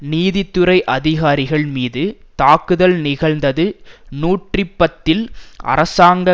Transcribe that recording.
நீதித்துறை அதிகாரிகள் மீது தாக்குதல் நிகழ்ந்தது நூற்றி பத்தில் அரசாங்க